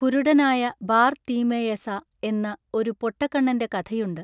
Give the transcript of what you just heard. കുരുടനായ Bartimaeus എന്നു ഒരു പൊട്ടകണ്ണന്റെ കഥയുണ്ടു.